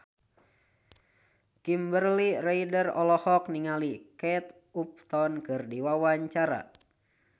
Kimberly Ryder olohok ningali Kate Upton keur diwawancara